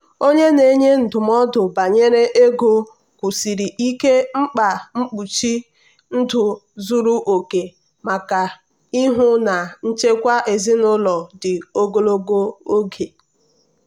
onye na-enye ndụmọdụ banyere ego kwusiri ike mkpa mkpuchi ndụ zuru oke maka ịhụ na nchekwa ezinụlọ dị ogologo ogologo oge.